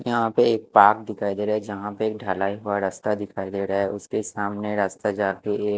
यहाँ पे एक पार्क दिखाई दे रहा है जहा पर एक ढलाई वाला रास्ता दिखाई दे रहा है उसके सामने एक--